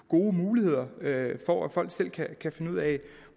gode muligheder for at folk selv kan kan finde ud af